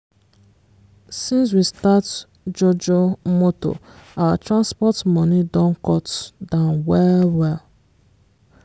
since we start jojo moto our transport money don cut down well-well.